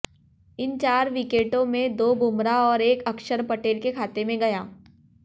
इन चार विकेटों में दो बुमराह और एक अक्षर पटेल के खाते में गया